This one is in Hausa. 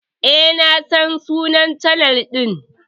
Eh na san sunnan chanel din.